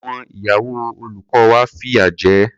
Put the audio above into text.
Àwọn ìyàwó olùkọ́ wa fìyà jẹ ẹ́.